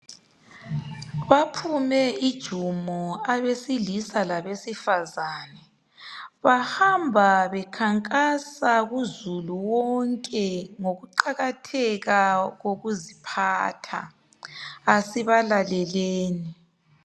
Baphume ijumo abesilisa labesifazana bahamba bekhankasa kuzulu wonke ngokuqakatheka kokuziphatha kasibalaleleni.